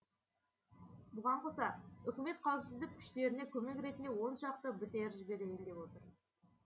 бұған қоса үкімет қауіпсіздік күштеріне көмек ретінде оншақты бтр жіберейін деп отыр